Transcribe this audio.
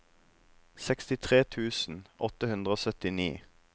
sekstitre tusen åtte hundre og syttini